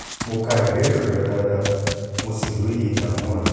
mo ka ìbéèrè rẹ dáadáa mo sì lóye ìdààmú rẹ